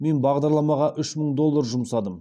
мен бағдарламаға үш мың доллар жұмсадым